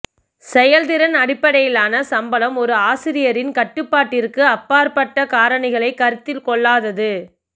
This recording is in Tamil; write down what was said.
செயல்திறன் அடிப்படையிலான சம்பளம் ஒரு ஆசிரியரின் கட்டுப்பாட்டிற்கு அப்பாற்பட்ட காரணிகளை கருத்தில் கொள்ளாதது